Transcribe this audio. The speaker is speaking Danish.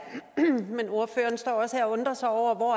men ordføreren står også her og undrer sig over hvor